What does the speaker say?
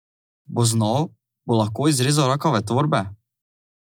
Bo znal, bo lahko izrezal rakave tvorbe?